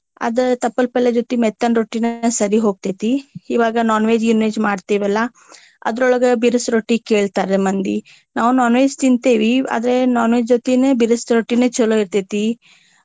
ಅದ ತಪ್ಪಲ ಪಲ್ಲೆ ಜೊತೆಗ ಮೆತ್ತನ ರೊಟ್ಟಿನ ಸರಿ ಹೋಗ್ತೇತಿ. ಇವಾಗ non veg ಗೀನ veg ಮಾಡ್ತಿವಲ್ಲಾ ಅದ್ರೋಳಗ ಬಿರಸ ರೊಟ್ಟಿ ಕೇಳ್ತಾರ ಮಂದಿ. ನಾವ non veg ತಿಂತೆವಿ ಆದ್ರೆ non veg ಜೊತೆಗೆ ಬಿರಸ ರೊಟ್ಟಿನೆ ಚೊಲೋ ಇರ್ತೆತಿ.